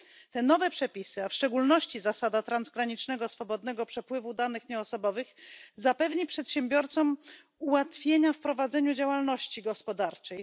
Te nowe przepisy, a w szczególności zasada transgranicznego swobodnego przepływu danych nieosobowych, zapewni przedsiębiorcom ułatwienia w prowadzeniu działalności gospodarczej.